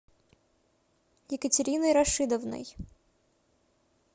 екатериной рашидовной